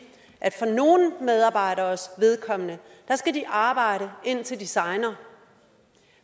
at for nogle medarbejderes vedkommende skal de arbejde indtil de segner